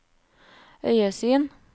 øyesyn